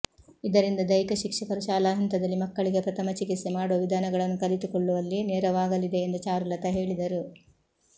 ಇದರಿಂದ ದೈಹಿಕ ಶಿಕ್ಷಕರು ಶಾಲಾ ಹಂತದಲ್ಲಿ ಮಕ್ಕಳಿಗೆ ಪ್ರಥಮ ಚಿಕಿತ್ಸೆ ಮಾಡುವ ವಿಧಾನಗಳನ್ನು ಕಲಿತುಕೊಳ್ಳುವಲ್ಲಿ ನೆರವಾಗಲಿದೆ ಎಂದು ಚಾರುಲತಾ ಹೇಳಿದರು